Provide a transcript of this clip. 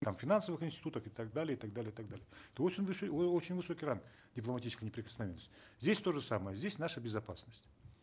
там в финансовых институтах и так далее и так далее и так далее очень высокий ранг дипломатическая неприкосновенность здесь то же самое здесь наша безопасность